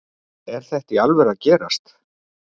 Er þetta í alvöru að gerast?